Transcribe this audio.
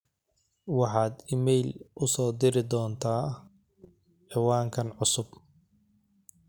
waxaad iimayl u soo diri doontaa ciwaankan cusub